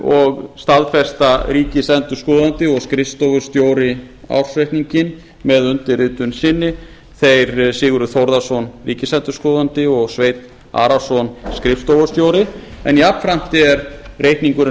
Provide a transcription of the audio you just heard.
og staðfesta ríkisendurskoðandi og skrifstofustjóri ársreikninginn með undirritun sinni þeir sigurður þórðarson ríkisendurskoðandi og sveinn arason skrifstofustjóri en jafnframt er reikningurinn